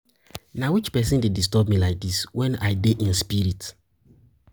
Na which person dey disturb me like dis wen I dey in spirit.